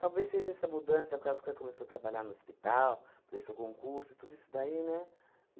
Talvez seja essa mudança, causa que ela começou a trabalhar no hospital, prestou concurso, tudo isso daí, né?